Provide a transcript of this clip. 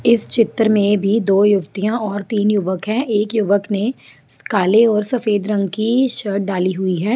इस चित्र में भी दो युवतियाँ और तीन युवक है एक युवक ने काले और सफ़ेद रंग की शर्ट डाली हुई है।